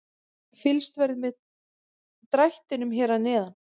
Fylgst verður með drættinum hér að neðan.